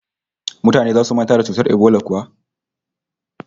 Mutane zasu manta da cutar ebola kuwa?